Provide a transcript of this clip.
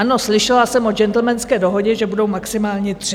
Ano, slyšela jsem o gentlemanské dohodě, že budou maximálně tři.